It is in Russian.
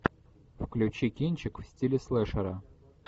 включи кинчик в стиле слэшера